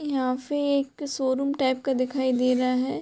यहाँ पे एक शो रूम टाइप का दिखाई दे रहा है।